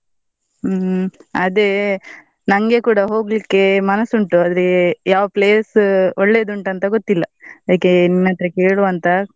ಹ್ಮ್, ಅದೇ ನನ್ಗೆ ಕೂಡ ಹೋಗ್ಲಿಕ್ಕೆ ಮನಸ್ಸು ಉಂಟು ಆದ್ರೆ ಯಾವ್ place ಒಳ್ಳೆದುಂಟು ಅಂತ ಗೊತ್ತಿಲ್ಲ, ಅದ್ಕೆ ನಿನ್ ಅತ್ರ ಕೇಳುವ ಅಂತ.